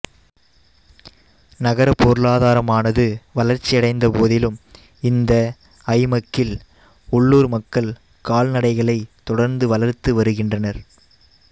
நகர பொருளாதாரமானது வளர்ச்சியடைந்த போதிலும் இந்த ஐமக்கில் உள்ளூர் மக்கள் கால்நடைகளை தொடர்ந்து வளர்த்து வருகின்றனர்